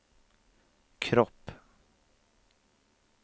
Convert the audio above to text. kropp